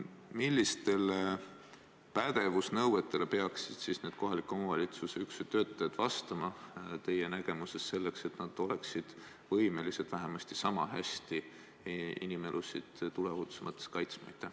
Millistele pädevusnõuetele peaksid need kohaliku omavalitsuse üksuse töötajad teie arvates vastama, selleks et nad oleksid võimelised sama hästi inimelusid tuleohutuse mõttes kaitsma?